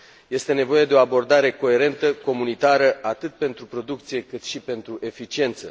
Este nevoie de o abordare coerentă, comunitară, atât pentru producție, cât și pentru eficiență.